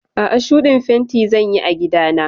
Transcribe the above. A'a, shuɗin fenti zan yi a gida na.